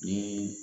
Ni